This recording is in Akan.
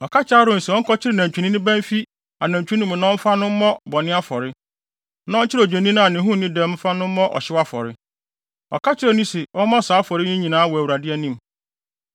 Ɔka kyerɛɛ Aaron se ɔnkɔkyere nantwinini ba mfi anantwi no mu na ɔmfa no mmɔ bɔne afɔre, na ɔnkyere odwennini a ne ho nni dɛm mfa no mmɔ ɔhyew afɔre. Ɔka kyerɛɛ no se ɔmmɔ saa afɔre yi nyinaa wɔ Awurade anim.